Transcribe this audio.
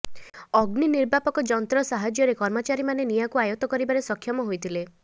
ଅଗ୍ନି ନିର୍ବାପକ ଯନ୍ତ୍ର ସାହାଯ୍ୟରେ କର୍ମଚାରୀ ମାନେ ନିଆାଁକୁ ଆୟତ୍ତ କରିବାରେ ସକ୍ଷମ ହୋଇ ଥିଲେ